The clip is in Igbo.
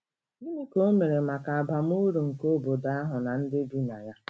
Gịnị ka o o mere maka abam uru nke obodo ahụ na ndị bi na ya?